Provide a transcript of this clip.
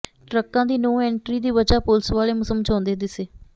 ਟਰੱਕਾਂ ਦੀ no entry ਦੀ ਵਜ੍ਹਾ ਪੁਲਸ ਵਾਲੇ ਸਮਝਾਉਂਦੇ ਦਿੱਸੇ